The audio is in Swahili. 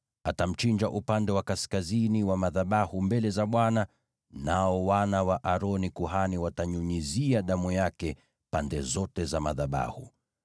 Atamchinjia upande wa kaskazini wa madhabahu mbele za Bwana , nao wana wa Aroni walio makuhani watanyunyizia damu yake pande zote za madhabahu.